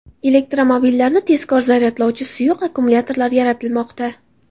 Elektromobillarni tezkor zaryadlovchi suyuq akkumulyatorlar yaratilmoqda.